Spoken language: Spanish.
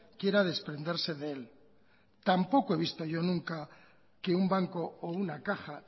quiera desprenderse de él tampoco he visto yo nunca que un banco o una caja